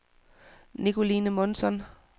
Nicoline Månsson